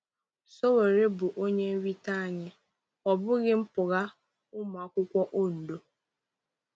Sowore bụ onye nrite anyị, ọ bụghị mpụga—ụmụ akwụkwọ Ondo.